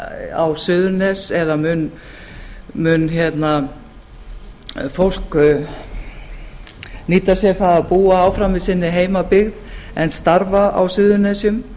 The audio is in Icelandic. á suðurnes eða mun fólk nýta sér það að búa áfram í sinni heimabyggð en starfa á suðurnesjum